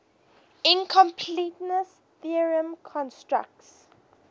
incompleteness theorem constructs